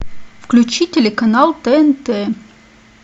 включи телеканал тнт